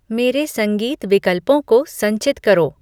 मेरे संगीत विकल्पों को संचित करो